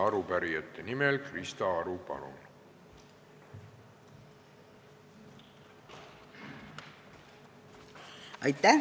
Arupärijate nimel Krista Aru, palun!